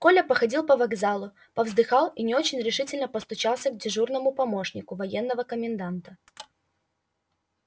коля походил по вокзалу повздыхал и не очень решительно постучался к дежурному помощнику военного коменданта